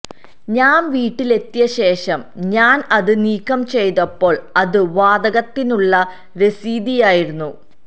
ഞാൻ വീട്ടിലെത്തിയ ശേഷം ഞാൻ അത് നീക്കം ചെയ്തപ്പോൾ അത് വാതകത്തിനുള്ള രസീതിയായിരുന്നു